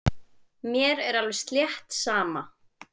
Mér er alveg slétt sama.